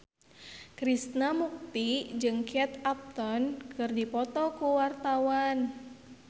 Krishna Mukti jeung Kate Upton keur dipoto ku wartawan